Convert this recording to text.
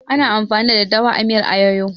Ana amfani da daddawa a miyar ayoyo